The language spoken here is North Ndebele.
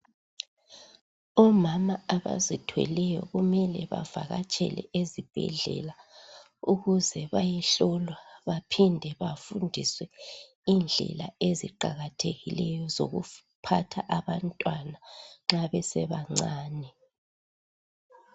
Omama abazithweleyo kumele bavakatshele ezibhedlela ukuze bayehlolwa baphinde bafundiswe indlela eziqakathekileyo zokuphatha abantwana nxa besebancane.